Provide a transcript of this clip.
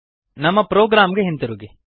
ನಮ್ಮ ಪ್ರೊಗ್ರಾಮ್ ಗೆ ಹಿಂತಿರುಗಿ